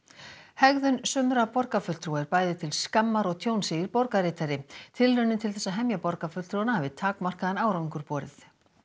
hegðun sumra borgarfulltrúa er bæði til skammars og tjóns segir borgarritari tilraunir til þess að hemja borgarfulltrúanna hafi takmarkaðan áhuga borið